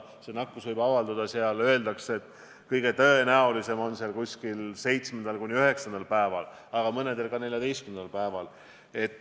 See nakkus võib avalduda, öeldakse, kõige tõenäolisemalt umbes 7.–9. päeval, aga mõnel juhul ka 14. päeval.